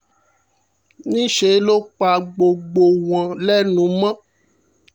níṣẹ́ ló pa gbogbo wọn wọn lẹ́nu mọ́